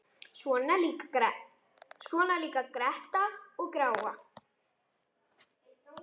Svona líka gretta og gráa.